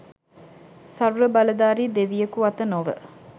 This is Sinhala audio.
සර්ව බලධාරි දෙවියකු අත නොව